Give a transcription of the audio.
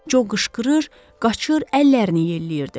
Co qışqırır, qaçır, əllərini yelləyirdi.